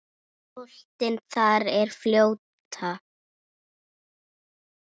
Boltinn þar að fljóta.